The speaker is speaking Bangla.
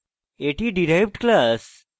এটি derived class